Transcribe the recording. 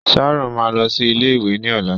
Sharon máa lọ sí ilé ìwé ni ọlá.